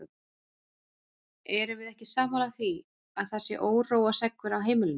Erum við ekki sammála því að það sé óróaseggur á heimilinu!